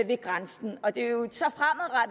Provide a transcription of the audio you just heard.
ved grænsen og det er jo